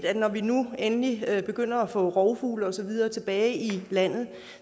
at når vi nu endelig begynder at få rovfugle og så videre tilbage i landet